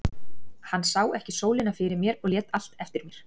Hann sá ekki sólina fyrir mér og lét allt eftir mér.